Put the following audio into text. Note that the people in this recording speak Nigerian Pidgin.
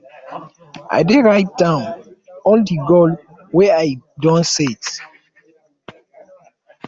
i dey write down all di goals wey i don set